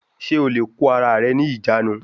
Ṣé o lè kó ara rẹ ní ìjánu